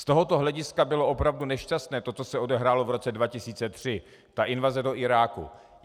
Z tohoto hlediska bylo opravdu nešťastné to, co se odehrálo v roce 2003, ta invaze do Iráku.